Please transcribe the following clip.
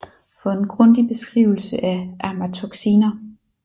For en grundig beskrivelse af amatoxiner